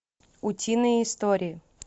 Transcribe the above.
утиные истории